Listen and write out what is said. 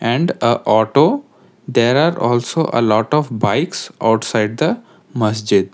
and uh auto there are also a lot of bikes outside the masjid.